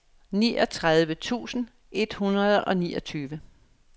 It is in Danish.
niogtredive tusind et hundrede og niogtyve